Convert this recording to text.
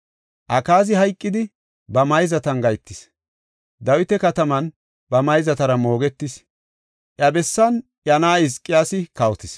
Akaazi hayqidi, ba mayzatan gahetis; Dawita Kataman ba mayzatara moogetis; iya bessan iya na7ay Hizqiyaasi kawotis.